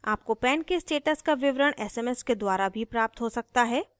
आपको pan के status का विवरण sms के द्वारा भी प्राप्त हो सकता है